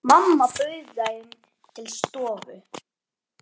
Mamma bauð þeim til stofu.